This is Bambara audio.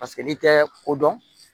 Paseke n'i tɛ ko dɔn